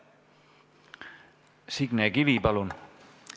Signe Kivi, palun!